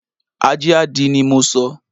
Ajé a dí ni mo sọ